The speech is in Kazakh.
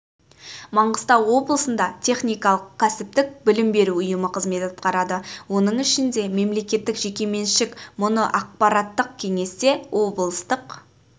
маңғыстау облысында техникалық-кәсіптік білім беру ұйымы қызмет атқарады оның ішінде мемлекеттік жекеменшік мұны аппаратық кеңесте облыстық